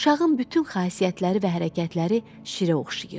Uşağın bütün xasiyyətləri və hərəkətləri şirə oxşayırdı.